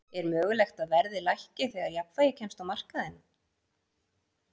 Er mögulegt að verðið lækki þegar jafnvægi kemst á á markaðnum?